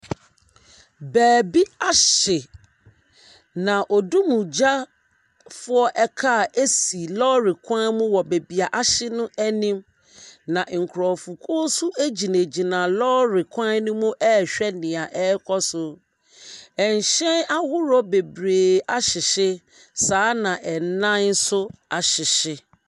Baabi ahye, na odumgyafoɔ kaa si lɔɔre kwan mu wɔ baabi a ahye no anim, na nkurɔfokuo nso gyinagyina lɔɔre kwan no mu rehwɛ deɛ ɛrekɔ so. Ahyɛn ahodoɔ bebree ahyehye, saa ara na adan nso ahyehye.